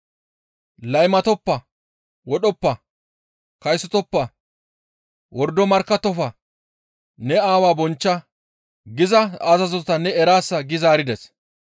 ‹Laymatoppa; wodhoppa; kaysotoppa; wordo markkattofa; ne aawaa bonchcha› giza azazota ne eraasa» gi zaarides.